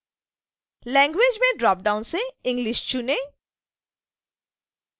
language में dropdown से english चुनें